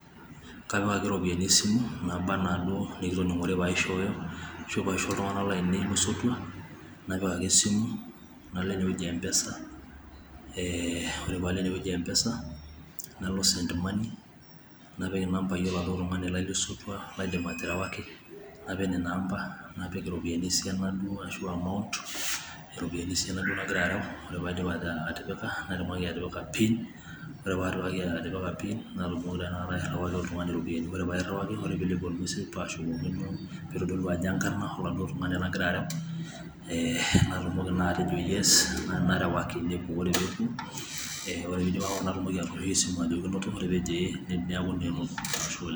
kapik ake ropiyiani esimu naaba anaa duo enikitoningore pee aisho, iltunganak lainei lesotua. napik ake esimu nalo eneweji Empesa, eee ore pee alo eneweji empesa, nalo send money napik inampayi ele tungani lai le sotua, naidim aterewaki napik inena amba napi iropiyiani esiana duo ashu amount nagira arew natumoki atipika pin ore pee apik pin nairiwaki oltungani iropiyiani. ore pee aashukokino peyie eitodolu enkarna oladuo oltungani lagira apikaki natumoki atejo yes, narewaki ore pee puo. natumoki atooshoki esimu ajoki inoto ore peejo inoto neaku naa enoto, ashe oleng